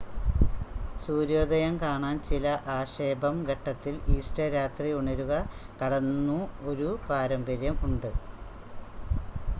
സൂര്യോദയം കാണാൻ ചില ആക്ഷേപം ഘട്ടത്തിൽ ഈസ്റ്റർ രാത്രി ഉണരുക കടന്നു ഒരു പാരമ്പര്യം ഉണ്ട്